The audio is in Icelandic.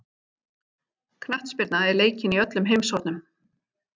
Knattspyrna er leikin í öllum heimshornum.